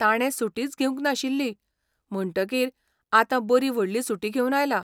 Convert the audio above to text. ताणे सुटीच घेवंक नाशिल्ली, म्हणटकीर आतां बरी व्हडली सुटी घेवन आयला.